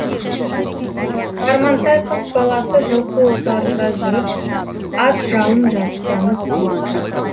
сармантай қыс баласы жылқы отарында жүріп ат жалын жастанып ұйықтайды